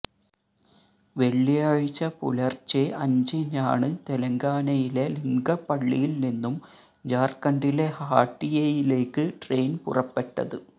വെളളിയാഴ്ച പുലർച്ചെ അഞ്ചിനാണ് തെലങ്കാനയിലെ ലിംഗപ്പളളിയിൽനിന്നും ജാർഖണ്ഡിലെ ഹാട്ടിയയിലേക്ക് ട്രെയിൻ പുറപ്പെട്ടത്